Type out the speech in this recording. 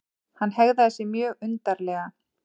Hann hegðaði sér mjög undarlega.